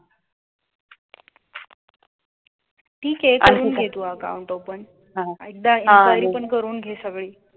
ठीक आहे करून घे तू account open एकदा enquiry पण करून घे सगळी